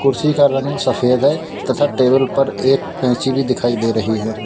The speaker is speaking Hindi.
कुर्सी का रंग सफेद है तथा टेबल पर एक कैंची भी दिखाई दे रही है।